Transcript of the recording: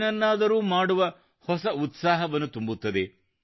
ಏನನ್ನಾದರೂ ಮಾಡುವ ಹೊಸ ಉತ್ಸಾಹವನ್ನು ತುಂಬುತ್ತದೆ